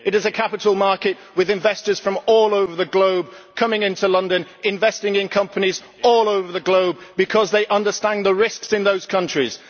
It is a capital market with investors from all over the globe coming into London investing in companies all over the globe because they understand the risks in those countries